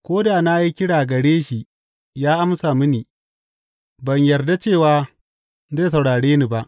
Ko da na yi kira gare shi ya amsa mini, ban yarda cewa zai saurare ni ba.